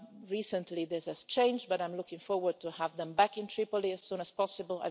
Recently this has changed, but I'm looking forward to having them back in Tripoli as soon as possible.